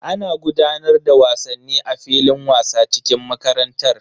Ana gudanar da wasanni a filin wasa cikin makarantar.